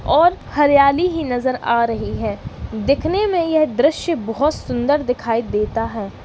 और हरियाली ही नजर आ रही है। दिखने में यह दृश्य बहुत सुंदर दिखाई देता है।